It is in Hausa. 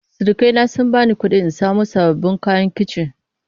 Surukai na sun bani kuɗi in samo sababbin kayan kici.